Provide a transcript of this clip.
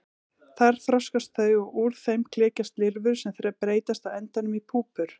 Þar þroskast þau og úr þeim klekjast lirfur sem breytast á endanum í púpur.